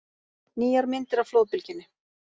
Nýjar myndir af flóðbylgjunni